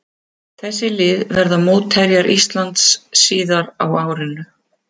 Þessi lið verða mótherjar Íslands síðar á árinu.